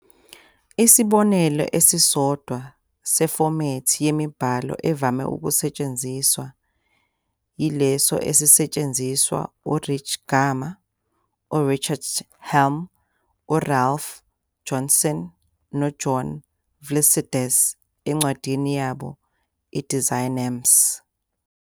Isibonelo esisodwa sefomethi yemibhalo evame ukusetshenziswa yileso esisetshenziswa u- Erich Gamma, uRichard Helm, uRalph Johnson, noJohn Vlissides encwadini yabo "Designamps".